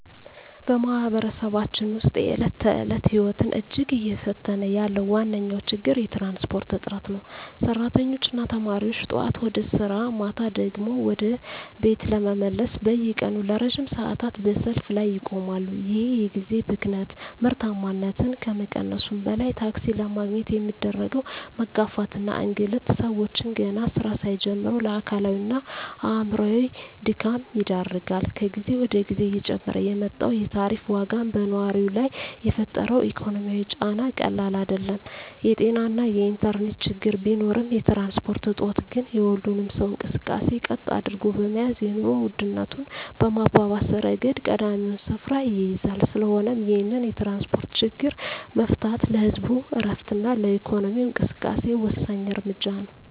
በማኅበረሰባችን ውስጥ የዕለት ተዕለት ሕይወትን እጅግ እየፈተነ ያለው ዋነኛው ችግር የትራንስፖርት እጥረት ነው። ሠራተኞችና ተማሪዎች ጠዋት ወደ ሥራ፣ ማታ ደግሞ ወደ ቤት ለመመለስ በየቀኑ ለረጅም ሰዓታት በሰልፍ ላይ ይቆማሉ። ይህ የጊዜ ብክነት ምርታማነትን ከመቀነሱም በላይ፣ ታክሲ ለማግኘት የሚደረገው መጋፋትና እንግልት ሰዎችን ገና ሥራ ሳይጀምሩ ለአካላዊና አእምሮአዊ ድካም ይዳርጋል። ከጊዜ ወደ ጊዜ እየጨመረ የመጣው የታሪፍ ዋጋም በነዋሪው ላይ የፈጠረው ኢኮኖሚያዊ ጫና ቀላል አይደለም። የጤናና የኢንተርኔት ችግሮች ቢኖሩም፣ የትራንስፖርት እጦት ግን የሁሉንም ሰው እንቅስቃሴ ቀጥ አድርጎ በመያዝ የኑሮ ውድነቱን በማባባስ ረገድ ቀዳሚውን ስፍራ ይይዛል። ስለሆነም ይህንን የትራንስፖርት ችግር መፍታት ለህዝቡ ዕረፍትና ለኢኮኖሚው እንቅስቃሴ ወሳኝ እርምጃ ነው።